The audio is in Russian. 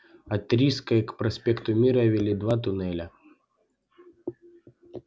от рижской к проспекту мира вели два туннеля